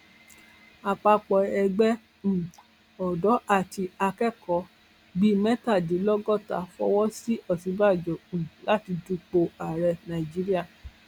àpapọ ẹgbẹ um ọdọ àti akẹkọọ bíi mẹtàdínlọgọta fọwọ sí òsínbàjò um láti dupò ààrẹ nàíjíríà